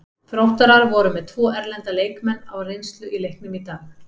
Þróttarar voru með tvo erlenda leikmenn á reynslu í leiknum í dag.